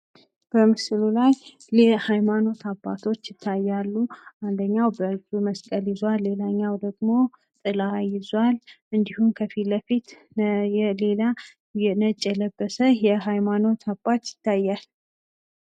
በምስሉ ላይ የሀይማኖት አባቶች ይታያሉ። አንደኛው በእጁ መስቀል ይዟል። ሌላኛው ደግሞ ጥላ ይዟል እንድሁም ከፊት ለፊት የሌላ ነጭ የለበሰ የሃይማኖት አባት ይታያል።